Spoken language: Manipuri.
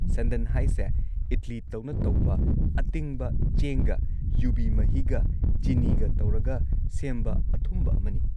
ꯁꯟꯗꯟ ꯍꯥꯏꯁꯦ ꯏꯗꯂꯤ ꯇꯧꯅ ꯇꯧꯕ ꯑꯇꯤꯡꯕ ꯆꯦꯡꯒ ꯌꯨꯕꯤ ꯃꯍꯤꯒ ꯆꯤꯅꯤꯒ ꯇꯧꯔꯒ ꯁꯦꯝꯕ ꯑꯊꯨꯝꯕ ꯑꯃꯅꯤ꯫